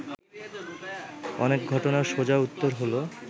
অনেক ঘটনার সোজা উত্তর হলো